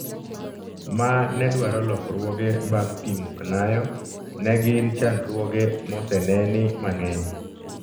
Ma nedwaro lokruoge bang pimo knayo , negin chandruoge moseneni mang'eny